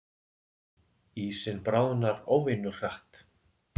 Ísinn bráðnar óvenju hratt